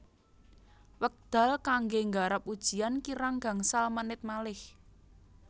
Wekdal kangge nggarap ujian kirang gangsal menit malih